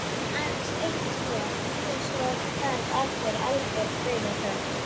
Aðeins eitt skot og svo varð aftur algjör dauðaþögn.